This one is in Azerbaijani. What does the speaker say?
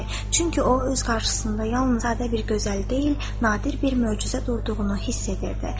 Çünki o, öz qarşısında yalnız sadə bir gözəl deyil, nadir bir möcüzə durduğunu hiss edirdi.